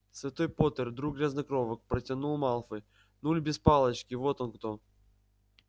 святой поттер друг грязнокровок протянул малфой нуль без палочки вот он кто